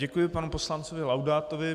Děkuji panu poslanci Laudátovi.